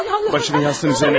Başını yastığın üzərinə qoyun.